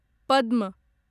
पद्म